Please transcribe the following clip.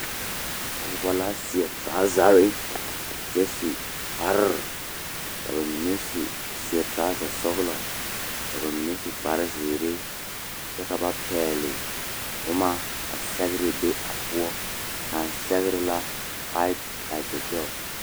Pɔgeba la seɛ torɔzare kyɛ su kpare ka ba mine su seɛ torɔzasɔglɔ ka ba mine su kparezeere kyɛ ka ba pɛgle boma ka sɛgre be a poɔ kan sɛgre la faet laki gɛl.